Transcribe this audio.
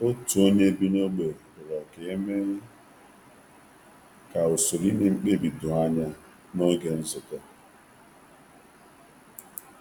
Otu onye bi n’ógbè rịọrọ ka e mee ka usoro ime mkpebi doo anya n’oge nzukọ.